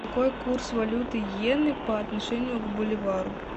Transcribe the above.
какой курс валюты йены по отношению к боливару